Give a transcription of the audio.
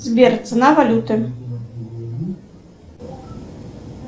сбер цена валюты